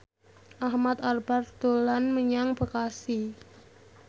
Ahmad Albar dolan menyang Bekasi